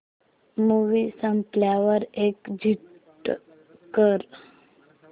movie संपल्यावर exit कर